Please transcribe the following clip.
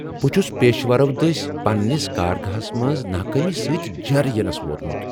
بہٕ چھس پیشورو دٔسۍ پننس کارگہس منز ناکٲمی سۭتۍ جیر ینس ووتمت۔